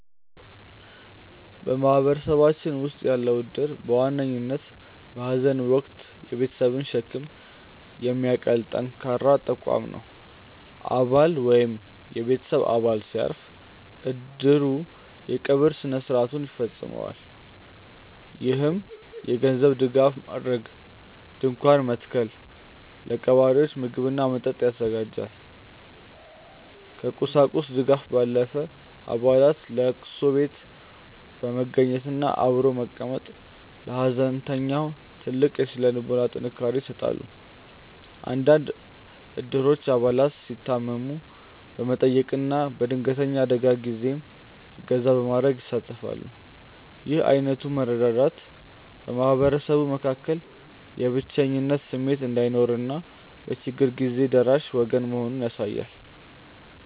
በማህበረሰባችን ውስጥ ያለው እድር በዋነኝነት በሐዘን ወቅት የቤተሰብን ሸክም የሚያቀል ጠንካራ ተቋም ነው። አባል ወይም የቤተሰብ አባል ሲያርፍ፣ እድሩ የቀብር ሥነ ሥርዓቱን ያስፈፅማል። ይህም የገንዘብ ድጋፍ ማድረግን፣ ድንኳን መትከልን፣ ለቀባሪዎች ምግብና መጠጥ ያዘጋጃል። ከቁሳቁስ ድጋፍ ባለፈ፣ አባላት ለቅሶ ቤት በመገኘትና አብሮ በመቀመጥ ለሐዘንተኛው ትልቅ የሥነ ልቦና ጥንካሬ ይሰጣሉ። አንዳንድ እድሮች አባላት ሲታመሙ በመጠየቅና በድንገተኛ አደጋዎች ጊዜም እገዛ በማድረግ ይሳተፋሉ። ይህ ዓይነቱ መረዳዳት በማህበረሰቡ መካከል የብቸኝነት ስሜት እንዳይኖርና በችግር ጊዜ ደራሽ ወገን መኖሩን ያሳያል።